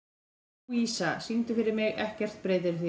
Lúísa, syngdu fyrir mig „Ekkert breytir því“.